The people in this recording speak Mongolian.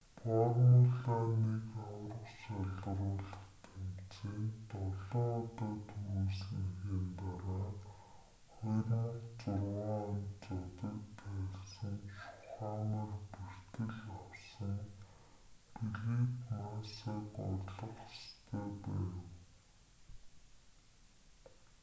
формула 1 аварга шалгаруулах тэмцээнд долоон удаа түрүүлсэнийхээ дараа 2006 онд зодог тайлсан шумахер бэртэл авсан фелипе массаг орлох ёстой байв